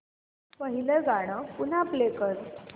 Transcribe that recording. पहिलं गाणं पुन्हा प्ले कर